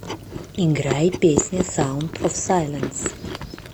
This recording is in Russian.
играй песня саунд оф сайленс